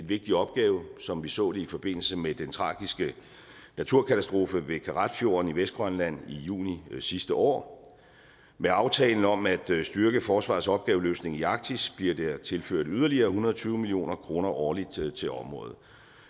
vigtig opgave som vi så det i forbindelse med den tragiske naturkatastrofe ved karratfjorden i vestgrønland i juni sidste år med aftalen om at styrke forsvarets opgaveløsning i arktis bliver der tilført yderligere en hundrede og tyve million kroner årligt til til området